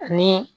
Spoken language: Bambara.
Ani